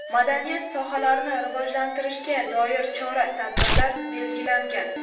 madaniyat sohalarini rivojlantirishga doir chora-tadbirlar belgilangan.